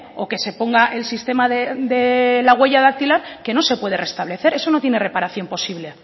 o que se ponga el sistema de la huella dactilar que no se puede restablecer eso no tiene reparación posible